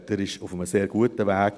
Er ist auf einem sehr guten Weg.